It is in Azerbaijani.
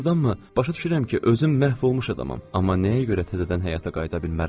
Doğurdanmı, başa düşürəm ki, özüm məhv olmuş adamam, amma nəyə görə təzədən həyata qayıda bilmərəm?